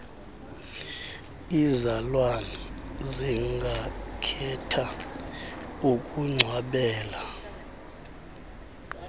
iizalwane zingakhetha ukungcwabela